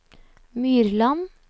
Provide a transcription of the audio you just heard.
Myrland